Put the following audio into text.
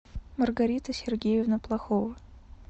маргарита сергеевна плахова